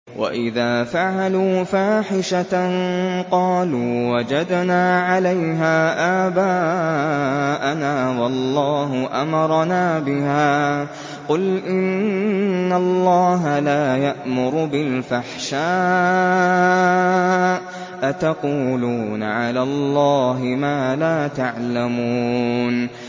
وَإِذَا فَعَلُوا فَاحِشَةً قَالُوا وَجَدْنَا عَلَيْهَا آبَاءَنَا وَاللَّهُ أَمَرَنَا بِهَا ۗ قُلْ إِنَّ اللَّهَ لَا يَأْمُرُ بِالْفَحْشَاءِ ۖ أَتَقُولُونَ عَلَى اللَّهِ مَا لَا تَعْلَمُونَ